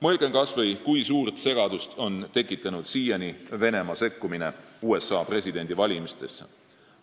Mõelgem kas või, kui suurt segadust on siiani tekitanud Venemaa sekkumine USA presidendivalimistesse.